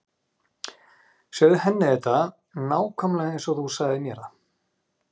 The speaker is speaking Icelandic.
Segðu henni þetta nákvæmlega eins og þú sagðir mér það.